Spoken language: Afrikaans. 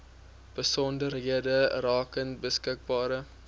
besonderhede rakende beskikbare